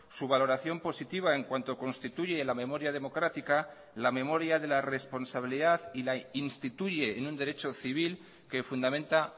su valoración positiva en cuanto constituye la memoria democrática la memoria de la responsabilidad y la instituye en un derecho civil que fundamenta